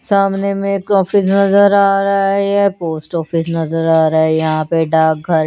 सामने में ऑफिस नजर आ रहे हे पोस्ट ऑफिस नजर आ रहा हे यहा पे डाक घर --